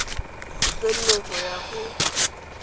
tse nne go ya go